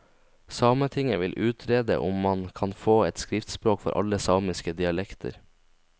Sametinget vil utrede om man kan få et skriftspråk for alle samiske dialekter.